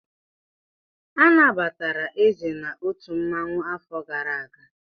Anabatara Eze n'otu mmanwụ afọ gara aga.